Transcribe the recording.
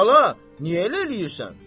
"Bala, niyə elə eləyirsən?"